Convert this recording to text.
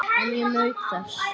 En ég naut þess.